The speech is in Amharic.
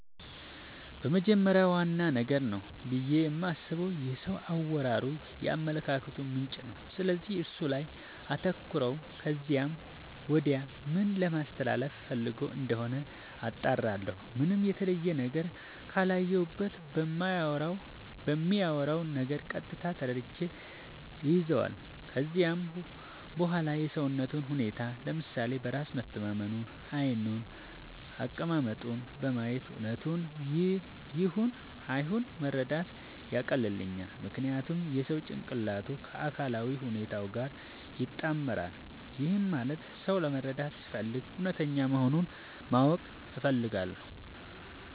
በመጀመሪያ ዋነኛ ነገር ነው ብዬ የማስበው የሰው አወራሩ የአመለካከቱ ምንጭ ነው፤ ስለዚህ እሱ ላይ አተኩራለው ከዚያም ወዲያ ምን ለማለስተላለፋ ፈልጎ እንደሆነ አጣራለሁ። ምንም የተለየ ነገር ካላየሁበት በሚያወራው ነገር ቀጥታ ተረድቼ እይዛለው። ከዚያም በዋላ የሰውነቱን ሁኔታ፤ ለምሳሌ በራስ መተማመኑን፤ ዓይኑን፤ አቀማመጡን በማየት እውነቱን ይሁን አይሁን መረዳት ያቀልልኛል። ምክንያቱም የሰው ጭንቅላቱ ከአካላዊ ሁኔታው ጋር ይጣመራል። ይህም ማለት ሰው ለመረዳት ስፈልግ እውነተኛ መሆኑን ማወቅ እፈልጋለው።